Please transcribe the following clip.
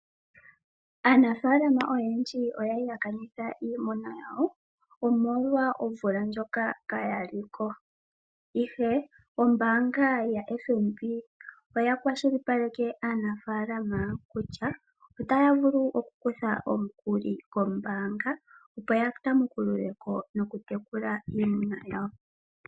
Aanafaalama oyendji oya li ya kanitha iimuna yawo, omolwa omvula ndjoka kaya li ko, ihe ombaanga yaFNB oya kwashilipaleke aanafaalama kutya otaya vulu okukutha omukuli kombaanga, opo ya tamukulule ko nokutekula iimuna yawo.